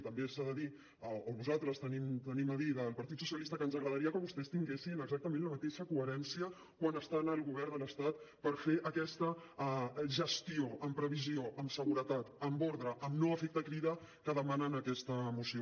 i també s’ha de dir o nosaltres hem de dir al partit socialista que ens agradaria que vostès tinguessin exactament la mateixa coherència quan estan al govern de l’estat per fer aquesta gestió amb previsió amb seguretat amb ordre amb no efecte crida que demana en aquesta moció